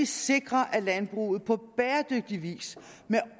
sikre at landbruget på bæredygtig vis